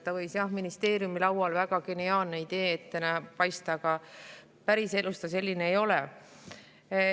See võis ministeeriumi laual väga geniaalse ideena paista, aga päriselus ta selline ei ole.